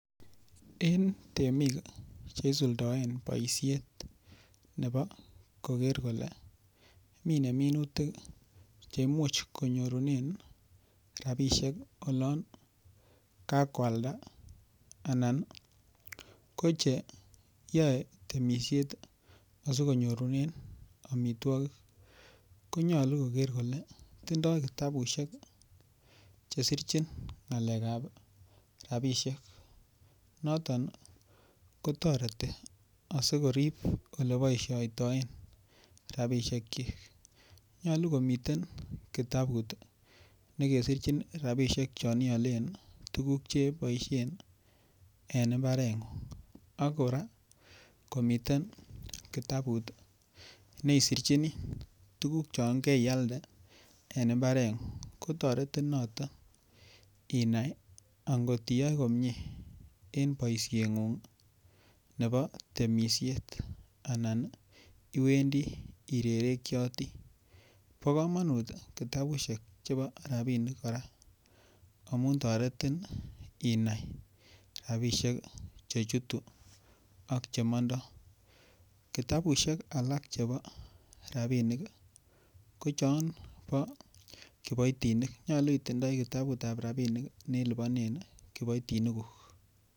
En temik Che isuldoen boisiet nebo koger kole mine minutik Che Imuch konyorunen rabisiek olon kakoalda anan ko che yoe temisiet asi konyorunen amitwogik konyolu koger kole tindoi Kityo kitabusiek Che sirchin ngalekab rabisiek noton kotoreti asi korib Ole kiboisioten rabisiek nyolu komiten kitabut ne kesirchin rabisiek chon ialen tuguk Che boisien en mbarengung ak kora komiten kitabut ne isirchini tuguk chon kerialde en mbarengung ko toretin noton inai angot iyoe komie en boisiengung nebo temisiet Anan iwendi irerekyoti bo kamanut kora amun toretin inai rabisiek Che chutu ak Che mondoi kitabusiek Alak chebo rabinik ko chon bo kiboitinik nyolu itindoi kitabut ab rabinik ne liponen kiboitinikuk